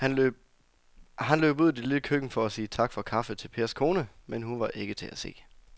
Han løb ud i det lille køkken for at sige tak for kaffe til Pers kone, men hun var ikke til at se.